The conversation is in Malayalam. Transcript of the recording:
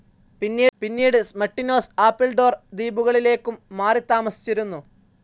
പിന്നീട് സ്മട്ടിനോസ്, ആപ്പിൾഡോർ ദ്വീപുകളിലേയ്ക്കും മാറിത്താമസിച്ചിരുന്നു.